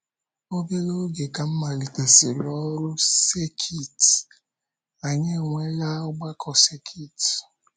Obere oge ka m m malitesịrị ọrụ sekit, anyị enwela ọgbakọ sekit.